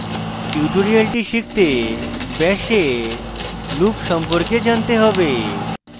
tutorial শিখতে bash এ loop সম্পর্কে জানতে হবে